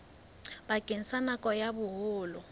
bakeng sa nako ya boholo